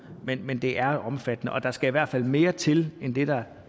men men det er omfattende og der skal i hvert fald mere til end det der